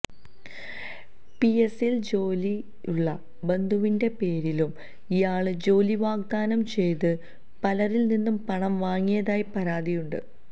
പിഎസ്സിയില് ജോലിയുള്ള ബന്ധുവിന്റെ പേരിലും ഇയാള് ജോലി വാഗ്ദാനം ചെയ്ത് പലരില്നിന്നും പണം വാങ്ങിയതായി പരാതിയുണ്ട്